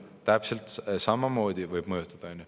Täpselt samamoodi võib mõjutada, on ju.